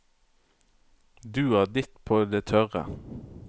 Du har ditt på det tørre.